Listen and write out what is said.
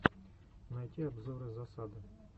найти обзоры засады